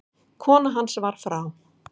Kona hans var frá